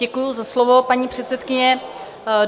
Děkuji za slovo, paní předsedkyně.